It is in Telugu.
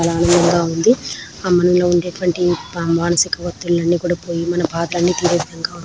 చాలా ఆనందంగా ఉంది. ఆ మనలో ఉండేటువంటి మనిసిక ఒత్తిల్లు అన్నీ కుడా పోయి మన బాధ అన్నీ తీరే విధంగా --